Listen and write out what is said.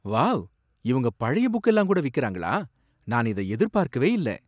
Wow! இவங்க பழைய புக்கெல்லாம் கூட விக்கறாங்களா, நான் இத எதிர்பார்க்கவே இல்ல.